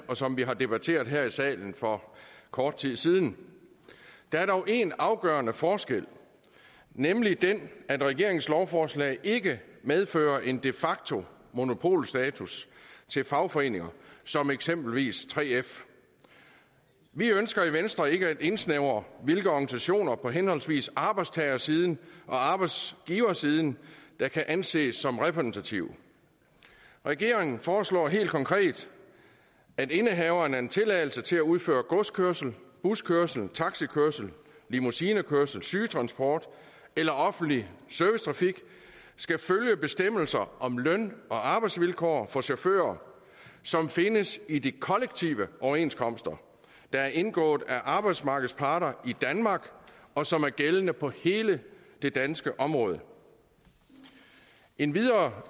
og som vi har debatteret her i salen for kort tid siden der er dog én afgørende forskel nemlig den at regeringens lovforslag ikke medfører en de facto monopolstatus til fagforeninger som eksempelvis 3f vi ønsker i venstre ikke at indsnævre hvilke organisationer på henholdsvis arbejdstagersiden og arbejdsgiversiden der kan anses som repræsentative regeringen foreslår helt konkret at indehaverne af en tilladelse til at udføre godskørsel buskørsel taxikørsel limousinekørsel sygetransport eller offentlig servicetrafik skal følge bestemmelser om løn og arbejdsvilkår for chauffører som findes i de kollektive overenskomster der er indgået af arbejdsmarkedets parter i danmark og som er gældende på hele det danske område endvidere